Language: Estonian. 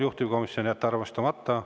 Juhtivkomisjon: jätta arvestamata.